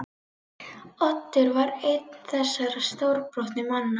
Oddur var einn þessara stórbrotnu manna.